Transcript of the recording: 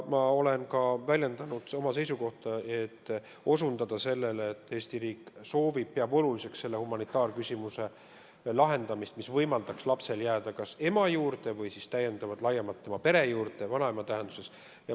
Ma olen väljendanud oma seisukohta, et Eesti riik peab oluliseks selle humanitaarküsimuse lahendamist nii, et lapsel võimaldataks jääda kas ema juurde või siis laiema pere ehk vanaema juurde.